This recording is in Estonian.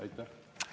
Aitäh!